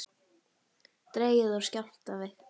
Dregið úr skjálftavirkni